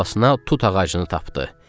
Əl havasına tut ağacını tapdı.